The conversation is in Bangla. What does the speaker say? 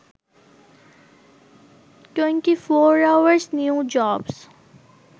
24 hours new jobs